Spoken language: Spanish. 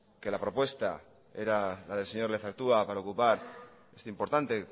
que la propuesta era la del señor lezertua para ocupar este importante